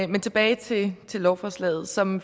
men tilbage til lovforslaget som